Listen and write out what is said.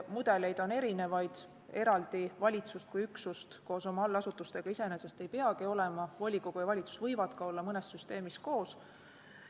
Mudeleid on erinevaid, eraldi valitsust kui üksust koos oma allasutustega iseenesest ei peagi olema, volikogu ja valitsus võivad olla ka mõnes süsteemis koos.